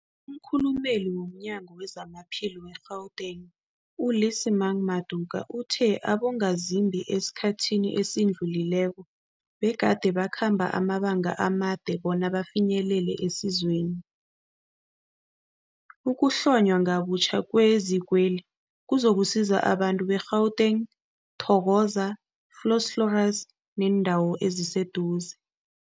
Umkhulumeli womNyango weZamaphilo we-Gauteng, u-Lesemang Matuka uthe abongazimbi esikhathini esidlulileko begade bakhamba amabanga amade bona bafinyelele isizweli. Ukuhlonywa ngobutjha kwezikweli kuzokusiza abantu be-Katlehong, Thokoza, Vosloorus nebeendawo eziseduze.